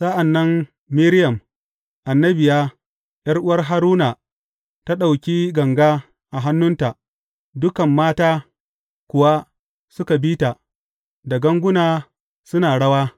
Sa’an nan Miriyam annabiya, ’yar’uwar Haruna ta ɗauki ganga a hannunta, dukan mata kuwa suka bi ta, da ganguna suna rawa.